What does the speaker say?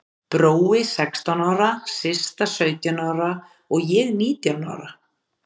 Brói sextán ára, Systa sautján ára og ég nítján ára.